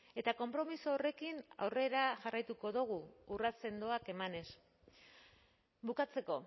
eta konpromiso horrekin aurrera jarraituko dugu urrats sendoak emanez bukatzeko